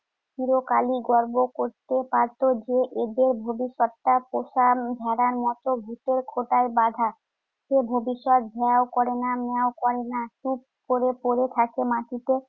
চিরকালই গর্ব করতে পারত যে এদের ভবিষ্যতটা পোষা ভেড়ার মত ভুতের খোঁটায় বাধা। সে ভবিষ্যৎ ভ্যাঁও করে না ম্যাঁও করে না, চুপ করে পড়ে থাকে মাটিতে।